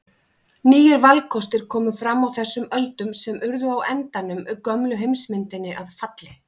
Nýir valkostir komu fram á þessum öldum sem urðu á endanum gömlu heimsmyndinni að falli.